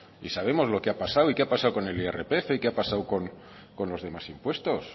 y sabemos lo que ha pasado y qué ha pasado con el irpf y qué ha pasado con los demás impuestos